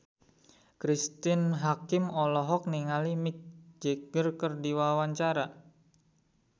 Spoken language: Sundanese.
Cristine Hakim olohok ningali Mick Jagger keur diwawancara